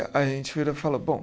A gente virou e falou, bom...